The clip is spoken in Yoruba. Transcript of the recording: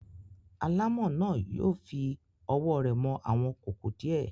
Alámọ̀ náà yóò fi ọwọ́ rẹ̀ mọ àwọn kòkò díẹ̀.